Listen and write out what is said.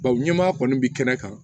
Bawo ɲɛma kɔni bi kɛnɛ kan